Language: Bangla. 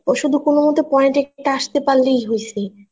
শুধু কোন মতে point একটা আসতে পারলেই হইছে